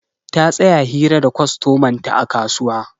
Ta tsaya hira da kwastoman ta a kasuwa.